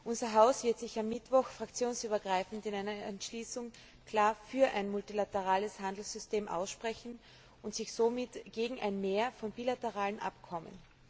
Unser Haus wird sich am Mittwoch fraktionsübergreifend in einer Entschließung klar für ein multilaterales Handelssystem aussprechen und somit gegen ein Mehr von bilateralen Abkommen.